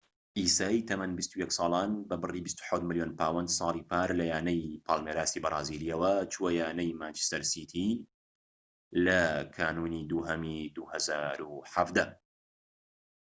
عیسای تەمەن ٢١ ساڵان بە بڕی ٢٧ ملیۆن پاوەند ساڵی پار لە یانەی پالمێراسی بەرازیلیەوە چووە یانەی مانچستەر سیتی لە کانونی دووهەمی ٢٠١٧